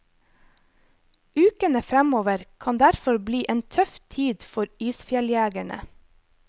Ukene fremover kan derfor bli en tøff tid for isfjelljegerne.